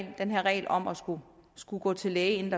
her regel om at skulle skulle gå til læge inden